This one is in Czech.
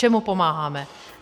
Čemu pomáháme?